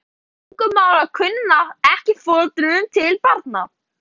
Til dæmis erfist tungumálakunnátta ekki frá foreldrum til barna.